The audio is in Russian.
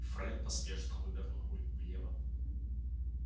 фред поспешно вывернул руль влево